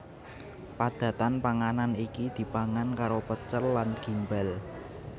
Padatan panganan iki dipangan karo pecel lan gimbal